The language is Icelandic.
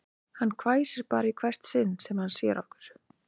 Hann hvæsir bara í hvert sinn sem hann sér okkur